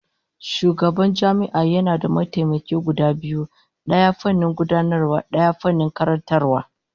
Shugaban jami'a yana da mataimaka guda biyu, daya fannin gudanarwa, daya fannin karantarwa